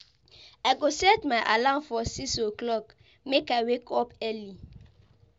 I go set my alarm for 6 o'clock, make I wake up early.